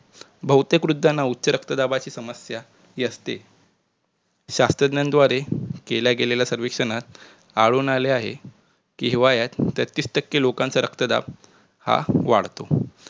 बहुतेक वृद्धांना उच्च रक्तदाबाची समस्या हि असते शास्त्रज्ञानद्वारे केल्या गेलेल्या सर्वेक्षणात आढळून आलेलं आहे कि तेहतीस टक्के लोकांचा रक्तदाब हा वाढतो